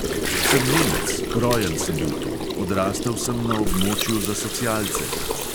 "Sem nemec, rojen sem bil tu, odrastel sem na območju za socialce!"